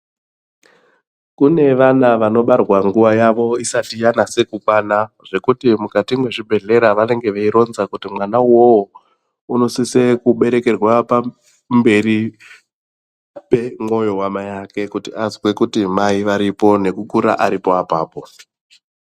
Kune vana vanobarwa nguwa yavo isati yanasa kukwana zvekuti mukat machibhehleyamwo vanenge veironza kuti mwana uyu unosisa kuberekerwa pamberi pemwoyo wamai vake kuti azwe kuti mai varipo nekukura Arizona ipapo.